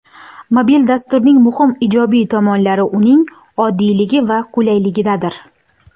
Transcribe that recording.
Mobil dasturning muhim ijobiy tomonlari uning oddiyligi va qulayligidadir.